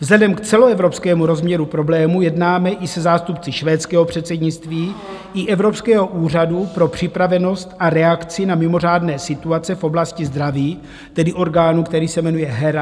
Vzhledem k celoevropskému rozměru problému jednáme i se zástupci švédského předsednictví i Evropského úřadu pro připravenost a reakci na mimořádné situace v oblasti zdraví, tedy orgánu, který se jmenuje HERA.